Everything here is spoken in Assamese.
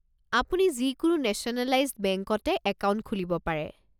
আপুনি যিকোনো নেশ্যনেলাইজ্ড বেংকতে একাউণ্ট খুলিব পাৰে।